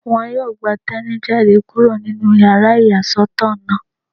Wọ́n yóò gba Teni jáde kúrò nínú yàrá ìyàsọ́tọ̀ náà